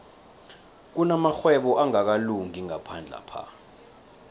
kunamarhwebo angakalungi ngaphandlapha